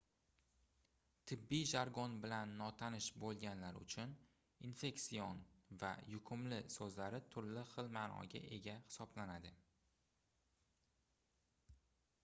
tibbiy jargon bilan notanish boʻlganlar uchun infeksion va yuqumli soʻzlari turli xil maʼnoga ega hisoblanadi